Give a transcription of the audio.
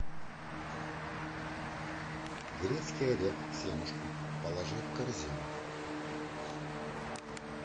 грецкий орех семушка положи в корзину